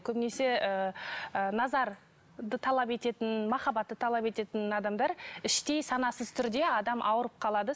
көбінесе ыыы назарды талап ететін махабатты талап ететін адамдар іштей санасыз түрде адам ауырып қалады